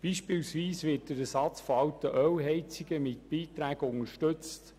Beispielsweise wird der Ersatz von alten Ölheizungen mit Beiträgen unterstützt.